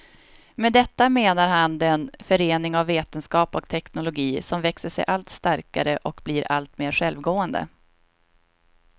Med detta menar han den förening av vetenskap och teknologi, som växer sig allt starkare och blir alltmer självgående.